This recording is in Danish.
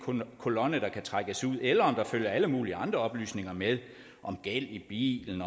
kolonne der kan trækkes ud eller om der følger alle mulige andre oplysninger med om gæld i bilen